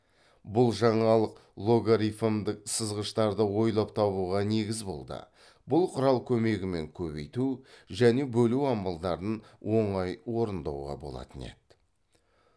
бұл жаңалық логарифмдік сызғыштарды ойлап табуға негіз болды бұл құрал көмегімен көбейту және бөлу амалдарын оңай орындауға болатын еді